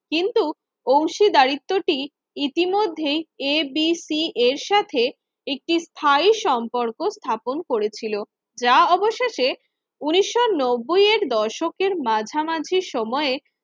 কিন্তু অংশীদারিত্যটি ইতিমধ্যেই ABC এর সাথে একটি স্থায়ী সম্পর্ক স্থাপন করেছিল। যা অবশেষে উন্নিশশো নব্বই এর দশকের মাঝামাঝি সময়ে